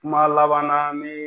Kuma laban na ni